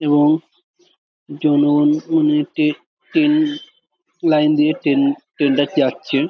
এবং জনগণ মানে টে ট্রেন লাইন দিয়ে ট্রেন ট্রেন -টা যাচ্ছে।